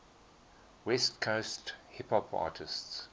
west coast hip hop artists